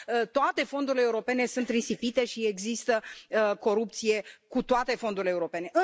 toate fondurile europene sunt risipite și există corupție cu toate fondurile europene.